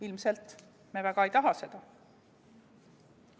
Ilmselt me väga ei taha seda.